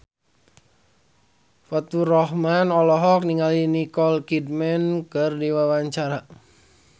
Faturrahman olohok ningali Nicole Kidman keur diwawancara